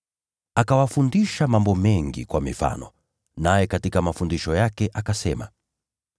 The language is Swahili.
Akawafundisha mambo mengi kwa mifano, naye katika mafundisho yake akasema: